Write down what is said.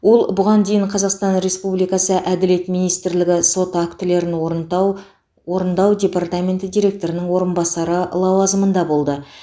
ол бұған дейін қазақстан республикасы әділет министрлігі сот актілерін орындау орындау департаменті директорының орынбасары лауазымында болды